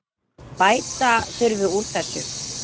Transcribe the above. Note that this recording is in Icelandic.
Bæta þurfi úr þessu.